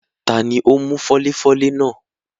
Tani ó mú fọ́léfọ́lé náà?